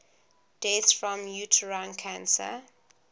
deaths from uterine cancer